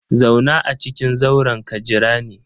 Zauna a cikin zauren ka jira ni!